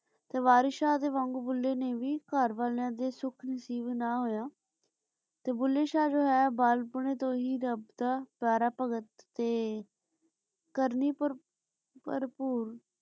ਤੇ ਵਾਰਿਸ ਸ਼ਾਹ ਦੇ ਵਾਂਗੂ ਭੁੱਲੇ ਨੇ ਵੀ ਘਰ ਵਾਲੀਆਂ ਸੁਖ ਨਸੀਬ ਨਾ ਹੋਯਾ ਤੇ ਭੁੱਲੇ ਸ਼ਾਹ ਜੋ ਹੈ ਬਾਲਾਕ੍ਪੁਨਾਯ ਤੋਂ ਹੀ ਰਾਬ ਦਾ ਕਰ ਭਗਤ ਤੇ ਕਰਨੀ ਭਰਪੂਰ